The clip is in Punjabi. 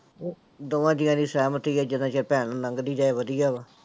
ਦੋਵਾਂ ਜੀਆਂ ਦੀ ਸਹਿਮਤੀ ਆ ਜਿੰਨਾ ਚਿਰ ਭੈਣ ਲੰਘਦੀ ਜਾਏ ਵਧੀਆ ਵਾ।